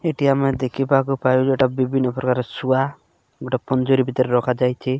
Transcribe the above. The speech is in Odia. ଏଠି ଆମର ଦେଖିବାକୁ ପାଇବେ ଏଟା ବିବିିନ ପ୍ରକାରର ଶୁଆ ଗୁଟେ ପଞ୍ଜୁରୀ ଭିତରେ ରଖାଯାଇଚି।